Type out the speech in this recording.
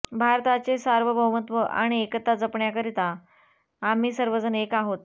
भारताचे सार्वभौमत्व आणि एकता जपण्याकरिता आम्ही सर्वजण एक आहोत